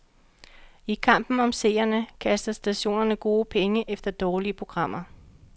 I kampen om seerne kaster stationerne gode penge efter dårlige programmer.